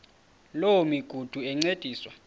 loo migudu encediswa